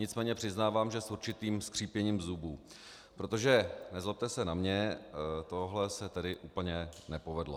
Nicméně přiznávám, že s určitým skřípěním zubů, protože nezlobte se na mě, tohle se tedy úplně nepovedlo.